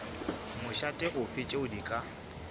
mošate ofe tšeo di ka